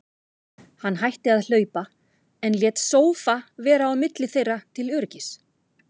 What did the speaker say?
Hann hætti að hlaupa, en lét sófa vera á milli þeirra til öryggis.